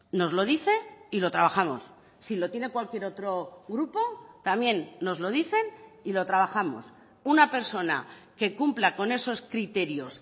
nos lo dice y lo trabajamos si lo tiene cualquier otro grupo también nos lo dicen y lo trabajamos una persona que cumpla con esos criterios